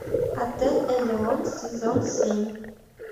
отель элеон сезон семь